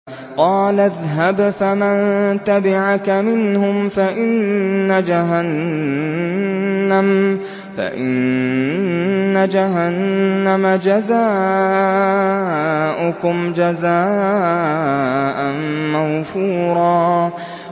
قَالَ اذْهَبْ فَمَن تَبِعَكَ مِنْهُمْ فَإِنَّ جَهَنَّمَ جَزَاؤُكُمْ جَزَاءً مَّوْفُورًا